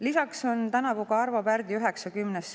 Lisaks tähistame tänavu Arvo Pärdi 90.